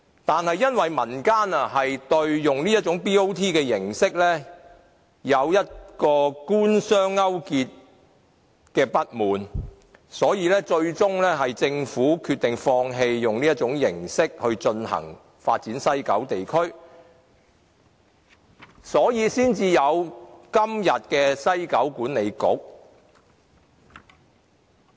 但是，因為民間不滿這種 BOT 形式存在官商勾結，所以政府最終決定放棄以這種形式發展西九地區，因而產生今天的西九文化區管理局。